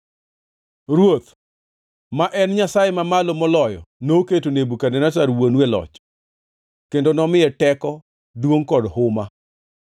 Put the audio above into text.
“Ruoth, ma en Nyasaye Man Malo Moloyo noketo Nebukadneza wuonu e loch kendo nomiye teko, duongʼ kod huma.